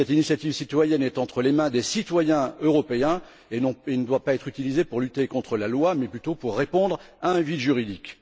Cette initiative citoyenne est entre les mains des citoyens européens et elle ne doit pas être utilisée pour lutter contre la loi mais plutôt pour répondre à un vide juridique.